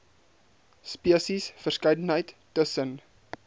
spesies verskeidenheid tussen